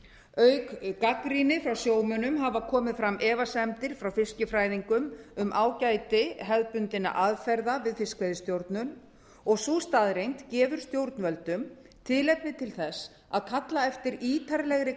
auk gagnrýni frá sjómönnum hafa komið fram efasemdir frá fiskifræðingum um ágæti hefðbundinna aðferða við fiskveiðistjórn og sú staðreynd gefur stjórnvöldum tilefni til þess að kalla eftir ítarlegri